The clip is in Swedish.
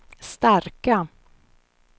starka